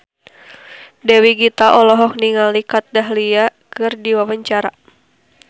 Dewi Gita olohok ningali Kat Dahlia keur diwawancara